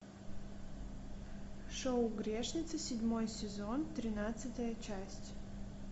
шоу грешница седьмой сезон тринадцатая часть